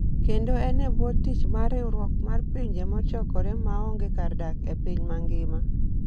kendo en e bwo tich mar riwruok mar Pinje Mochokore maonge kar dak e piny mangima.